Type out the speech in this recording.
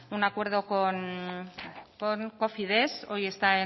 un acuerdo con cofides hoy está